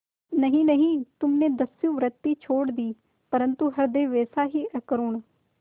नहीं नहीं तुमने दस्युवृत्ति छोड़ दी परंतु हृदय वैसा ही अकरूण